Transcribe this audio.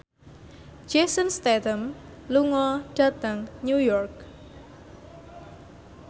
Jason Statham lunga dhateng New York